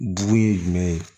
Jugu ye jumɛn ye